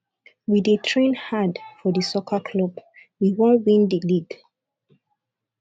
we dey train hard for di soccer club we wan win di league